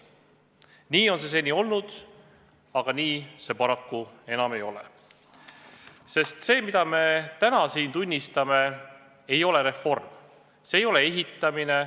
Nii on see seni olnud, aga enam paraku mitte, sest see, mille tunnistajaks me täna siin oleme, ei ole reform, see ei ole ehitamine.